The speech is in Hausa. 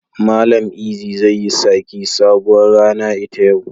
Mallam Eazy zai yi saki sabuwar rana ita yau.